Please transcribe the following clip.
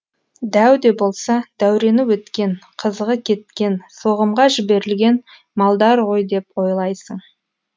дәу де болса дәурені өткен қызығы кеткен соғымға жіберілген малдар ғой деп ойлайсың